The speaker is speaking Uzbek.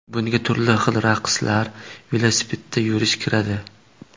Bunga turli xil raqslar, velosipedda yurish kiradi.